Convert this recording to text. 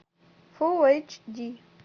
фулл эйч ди